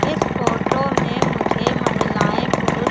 इस फोटो में मुझे महिलाएं पुरुष--